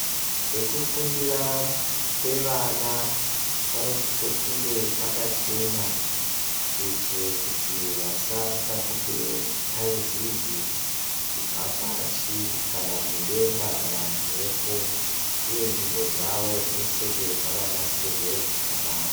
Pekufundira pevana panosise kunge pakachena, kuitire kuti vasatapukire thaizezi kubva pashi, kana mudenga, kana mumphepo. Uye ndau dzavo dzinosise kunge dzakanasirwe zvakanaka.